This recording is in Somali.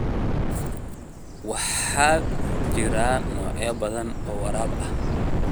Waxaa jira noocyo badan oo waraab ah.